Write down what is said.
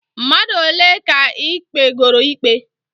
Mmadụ ole ka ị kpegooro ikpe?